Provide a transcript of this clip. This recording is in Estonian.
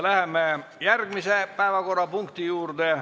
Läheme järgmise päevakorrapunkti juurde.